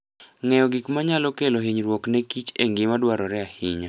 Ng'eyo gik manyalo kelo hinyruok ne kich en gima dwarore ahinya.